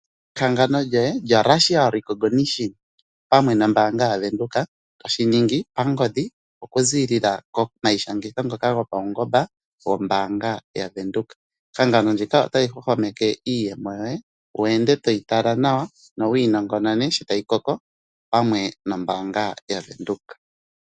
Ehangano lyoye lyo facial recognition pamwe nombaanga yaWindhoek toshiningi pangodhi okuziilila gopaungomba gombaanga yaWindhoek. Ehangano ndika ota li hwahwameke iiyemo yoye wu ende toyi tala nawa nowii nongonone sho tayi koko nombaanga yaWindhoek.